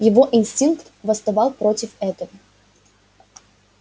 его инстинкт восставал против этого